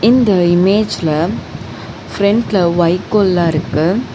இந்த இமேஜ்ல ஃபிரெண்ட்ல வைக்கோல்லாருக்கு.